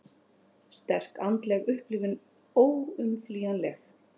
Sterk andleg upplifun óumflýjanleg